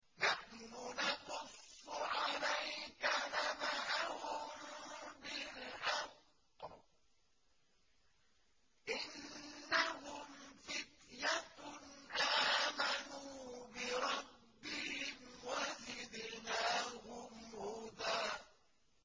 نَّحْنُ نَقُصُّ عَلَيْكَ نَبَأَهُم بِالْحَقِّ ۚ إِنَّهُمْ فِتْيَةٌ آمَنُوا بِرَبِّهِمْ وَزِدْنَاهُمْ هُدًى